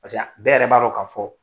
a bɛɛ yɛrɛ b'a dɔ ka fɔ